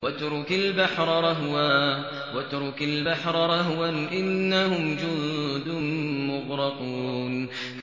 وَاتْرُكِ الْبَحْرَ رَهْوًا ۖ إِنَّهُمْ جُندٌ مُّغْرَقُونَ